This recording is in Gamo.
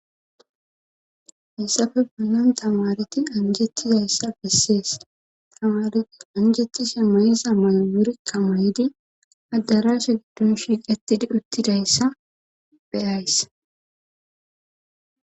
hessafe bunnon tamareti anjettizayssa bessees tamareti anjettishe mayiza malo wurikka may7di addarasha giddun shiiqetidi uttidayssa beyays